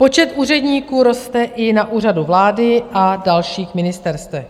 Počet úředníků roste i na Úřadu vlády a dalších ministerstvech.